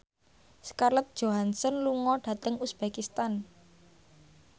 Scarlett Johansson lunga dhateng uzbekistan